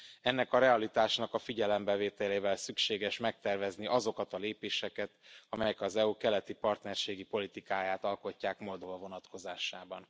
Ennek a realitásnak a figyelembevételével szükséges megtervezni azokat a lépéseket, amelyek az EU keleti partnerségi politikáját alkotják Moldova vonatkozásában.